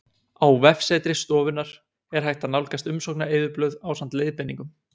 Á vefsetri stofunnar er hægt að nálgast umsóknareyðublöð ásamt leiðbeiningum.